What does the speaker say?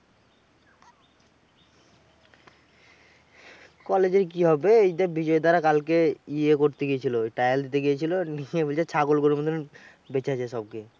College এর কি হবে? এইযে বিজয়দারা কালকে ইয়ে করতে গেছিল? trial দিতে গেছিল, নিয়ে বলছে ছাগল গরুর মতো বেঁচে আছে সব খেয়ে।